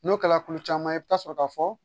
N'o kɛla kulu caman ye i bɛ taa sɔrɔ k'a fɔ